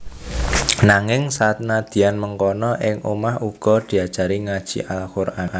Nanging senadyan mengkono ing omah uga diajari ngaji Al Quran